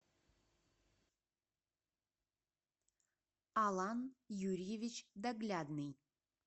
алан юрьевич доглядный